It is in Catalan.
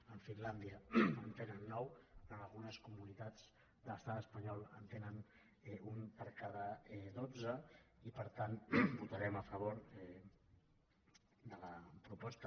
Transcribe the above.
a finlàndia en tenen nou en algunes comunitats de l’estat espanyol en tenen un per cada dotze i per tant votarem a favor de la proposta